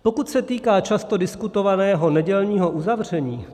Pokud se týká často diskutovaného nedělního uzavření.